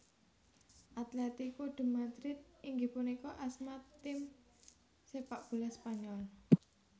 Atlético de Madrid inggih punika asma tim sepak bola Spanyol